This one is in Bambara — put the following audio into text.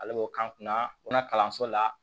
Ale b'o k'an kunna u na kalanso la